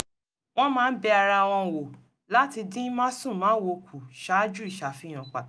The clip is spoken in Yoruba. wọ́n máa ń bẹ ara wọn wò láti dín másùnmáwo kù ṣáájú ìṣàfihàn pàtàkì